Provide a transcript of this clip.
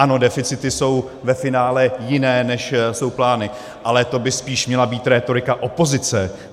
Ano, deficity jsou ve finále jiné, než jsou plány, ale to by spíš měla být rétorika opozice.